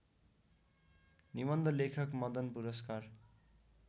निवन्ध लेखक मदनपुरस्कार